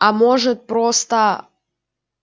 а может просто